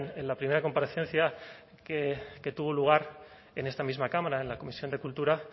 en la primera comparecencia que tuvo lugar en esta misma cámara en la comisión de cultura